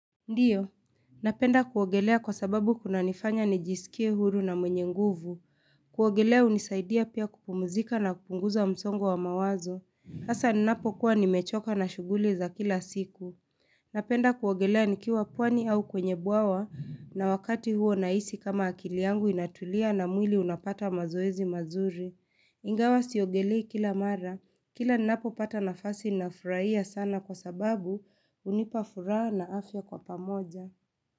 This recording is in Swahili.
Ndiyo, napenda kuogelea kwa sababu kunanifanya nijisikie huru na mwenye nguvu. Kuogelea unisaidia pia kupumuzika na kupunguza msongo wa mawazo. Asa ninapokuwa nimechoka na shughuli za kila siku. Napenda kuogelea nikiwa pwani au kwenye bwawa na wakati huo nahisi kama akili angu inatulia na mwili unapata mazoezi mazuri. Ingawa siogelei kila mara, kila ninapopata nafasi ninafurahia sana kwa sababu unipa furaha na afya kwa pamoja.